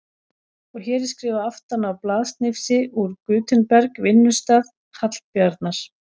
Og hér er skrifað aftan á blaðsnifsi úr Gutenberg, vinnustað Hallbjarnar